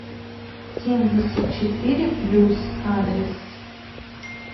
семьдесят четыре плюс адрес